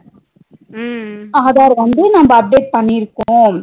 Aadhar வந்து நம்ம update பண்ணியிருக்கோம்